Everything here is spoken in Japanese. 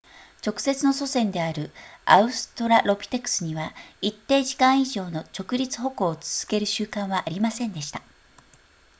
直接の祖先であるアウストラロピテクスには一定時間以上の直立歩行を続ける習慣はありませんでした